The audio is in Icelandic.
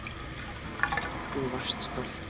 Hvað þú varst stolt.